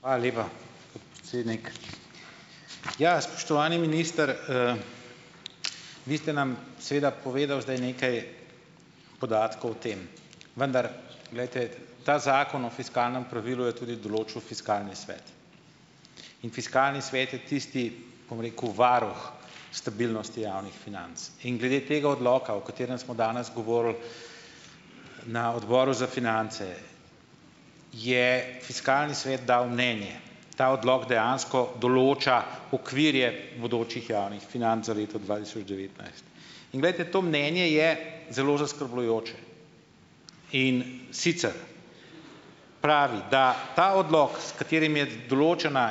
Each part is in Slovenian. Hvala lepa, podpredsednik. Ja, spoštovani minister, vi ste nam seveda povedal zdaj nekaj podatkov o tem, vendar glejte, ta zakon o fiskalnem pravilu je tudi določil fiskalni svet. In fiskalni svet je tisti, bom rekel, varuh stabilnosti javnih financ. In glede tega odloka, o katerem smo danes govorili na Odboru za finance, je fiskalni svet dal mnenje, ta odlok dejansko določa okvire bodočih javnih financ za leto dva tisoč devetnajst. In glejte to mnenje je zelo zaskrbljujoče. In sicer pravi, da ta odlok, s katerim je določena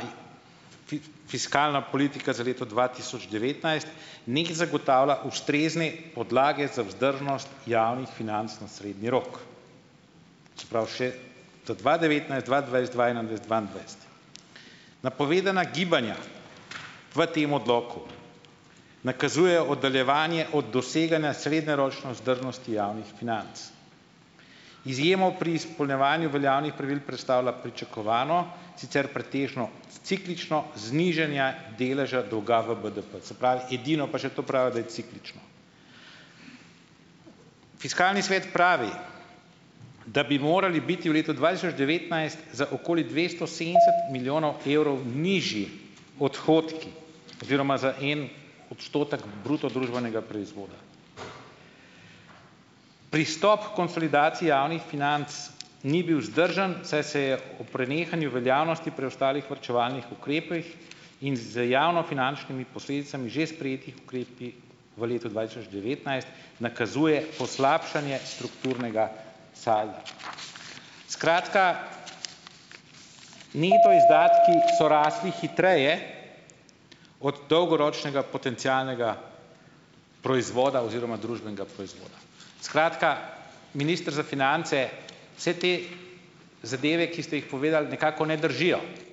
fiskalna politika za leto dva tisoč devetnajst nekje zagotavlja ustrezne podlage za vzdržnost javnih financ na srednji rok, se pravi še za dva devetnajst, dva dvajset, dva enaindvajset, dvaindvajset. Napovedana gibanja v tem odloku nakazujejo oddaljevanje od doseganja srednjeročne vzdržnosti javnih financ. Izjemo pri izpolnjevanju veljavnih pravil predstavlja pričakovano, sicer pretežno ciklično znižanje deleža dolga v BDP, se pravi, edino, pa še to pravijo, da je ciklično. Fiskalni svet pravi, da bi morali biti v letu dva tisoč devetnajst za okoli dvesto sedemdeset milijonov evrov nižji odhodki oziroma za en odstotek bruto družbenega proizvoda. Pristop h konsolidaciji javnih financ ni bil vzdržen, saj se je ob prenehanju veljavnosti preostalih varčevalnih ukrepov in z javnofinančnimi posledicami že sprejetih ukrepov v letu dva tisoč devetnajst nakazuje poslabšanje strukturnega salda. Skratka, neto izdatki so rasli hitreje od dolgoročnega potencialnega proizvoda oziroma družbenega proizvoda. Skratka, minister za finance, vse te zadeve, ki ste jih povedali, nekako ne držijo.